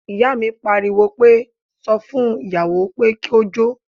Ìyá mi pariwo pé, sọ fún ìyàwó pé kó jó